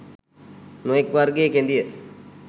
නොයෙක් වර්ගයේ කෙඳිය.